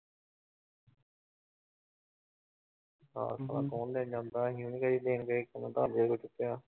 ਹਾਂ ਹਾਂ online ਜਾਂਦਾ ਅਸੀਂ ਉਹਨੂੰ ਕਦੇ ਦੇਣ ਗਏ